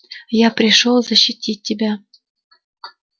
я пришёл защитить тебя